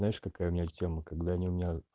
знаешь какая у меня блять тема когда они